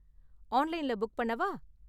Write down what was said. ஆன்லைன்ல புக் பண்ணவா?